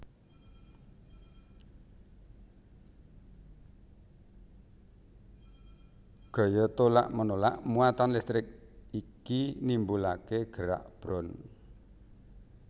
Gaya tolak menolak muatan listrik iki nimbulake gerak brown